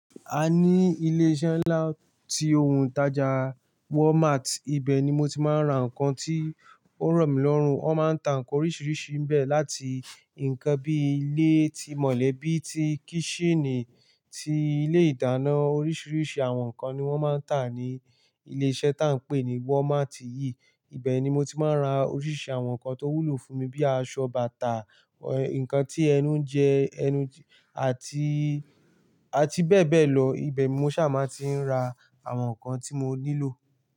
A ní ilé iṣẹ́ ńlá tí ohun tàjà Walmart. Ibẹ̀ ni mo ti máa ń ra nǹkan tí ó rọ̀ mí lọ́rùn. Wọ́n máa ń ta nǹkan oríṣiríṣi níbẹ̀, láti nǹkan bí i ilé tí mọ̀lẹ́bí, ti kíṣínì, ti ilé ìdáná, oríṣiríṣi àwọn nǹkan ni wọ́n máa ń tà ní ilé iṣẹ́ tí à ń pè ní Walmart yìí. Ibẹ̀ ni mo ti máa ń ra oríṣi àwọn nǹkan tó wúlò fún mi, bíi aṣọ, bàtà, ẹ̀, nǹkan tí ẹnu ń jẹ, ẹnu-- àti, àti bẹ́ẹ̀ bẹ́ẹ̀ lọ. Ibẹ̀ ni mo ṣà máa ti ń ra àwọn nǹkan tí mo nílò.